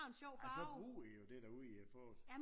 Ej så bruger I det jo derude i fåret